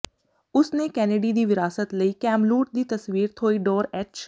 ਉਸ ਨੇ ਕੈਨੇਡੀ ਦੀ ਵਿਰਾਸਤ ਲਈ ਕੈਮਲੂਟ ਦੀ ਤਸਵੀਰ ਥੌਇਡੋਰ ਐਚ